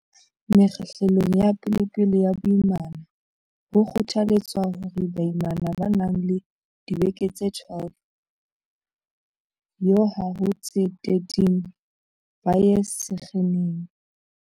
Mekgahlelong ya pe lepele ya boimana, ho kgothaletswa hore baimana ba nang le dibeke tse 12 yo ha ho tse 13 ba ye sekheneng.